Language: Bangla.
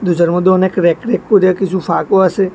দরজার মধ্যে অনেক ব়্যাক ব়্যাক কইব়্যা কিসু ফাঁকও আসে।